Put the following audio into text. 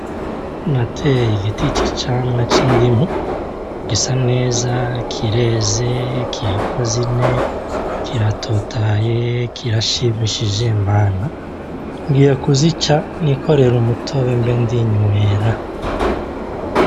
Nateye igiti c'icamwa c'indimu, gisa neza; kireze; kiriko zine; kiratotahaye; kirashimishije Mana! Ngiye kuzica nikorere umutobe mbe ndi nywera.